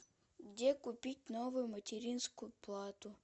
где купить новую материнскую плату